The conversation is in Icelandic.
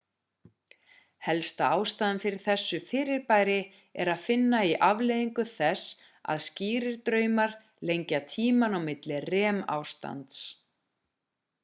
helsta ástæðan fyrir þessu fyrirbæri er að finna í afleiðingu þess að skýrir draumar lengja tímann á milli rem ástands